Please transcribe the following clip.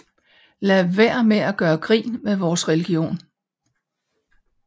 Lad være med at gøre grin med vores religion